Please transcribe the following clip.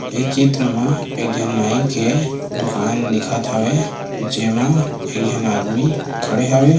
ए चित्र म एक झीन नाई के दुकान दिखत हवे जेमा एक झन आदमी खड़े हवे ।